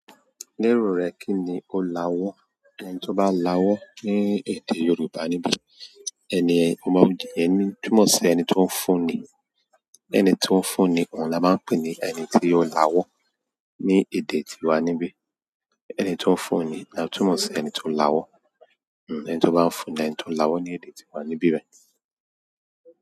Ní èrò rẹ kí ni ó lawọ́? Ọ̀un tí ó bá lawọ́ ní èdè Yorùbá níbí, ẹni, iyen túmọ̀ sí ẹni tí ó ń fún ni. Ẹni tí ó ń fún ni òun la máa ń pè ní ẹni tí ó lawó ní èdè tíwa níbí. Ẹni tí ó ń fún ni ni a tún mọ̀ sí ẹni tí ó ń lawọ́. Ọ̀un ẹni tí ó bá ń fún ni ẹni tí ó ń lawọ́ ní èdè tíwa níbí rẹ.